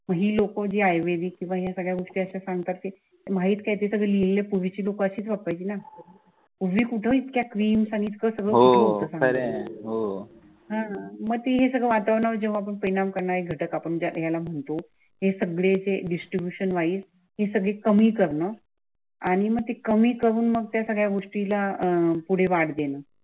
हम्म मग ती ही सगळं वातावरनावर जेव्हा पण परिणाम करणारे घटक आपण ज्याला म्हणतो. हे सगळे जे डिस्ट्रीब्युशनवैस हे सगळी कमी करणं आणि मग ते कमी करून मग त्या सगळ्या गोष्टीला अह पुढे वाढ देणे.